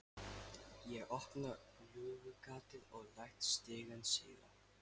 Ég opna lúgugatið og læt stigann síga.